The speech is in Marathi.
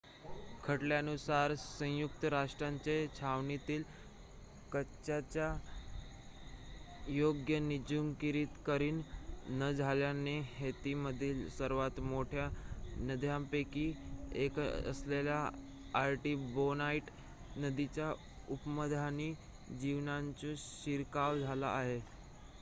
खटल्यानुसार संयुक्त राष्ट्रांच्या छावणीतील कचऱ्याचे योग्य निर्जंतुकीकरण न झाल्याने हैतीमधील सर्वात मोठ्या नद्यांपैकी एक असलेल्या आर्टिबोनाइट नदीच्या उपनद्यांमध्ये जिवाणूचा शिरकाव झाला आहे